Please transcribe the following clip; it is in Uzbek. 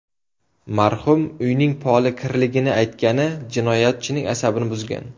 Marhum uyning poli kirligini aytgani jinoyatchining asabini buzgan.